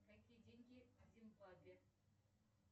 какие деньги в зимбабве